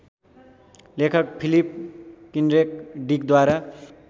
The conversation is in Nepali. लेखक फिलिप किन्ड्रेक डिकद्वारा